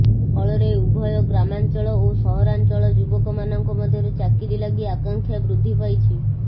ଫଳରେ ଉଭୟ ଗ୍ରାମାଞ୍ଚଳ ଓ ସହରାଞ୍ଚଳ ଯୁବକମାନଙ୍କ ମଧ୍ୟରେ ଚାକିରି ଲାଗି ଆକାଂକ୍ଷା ବୃଦ୍ଧି ପାଇଛି